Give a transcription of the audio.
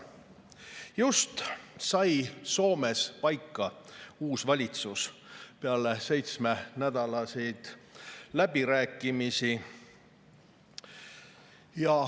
Just sai Soomes paika uus valitsus, peale seitsmenädalasi läbirääkimisi.